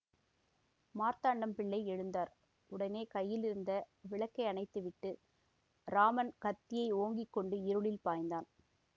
மார்த்தாண்டம் பிள்ளை எழுந்தார் உடனே கையிலிருந்த விளக்கையணைத்துவிட்டு ராமன் கத்தியை ஓங்கிக்கொண்டு இருளில் பாய்ந்தான்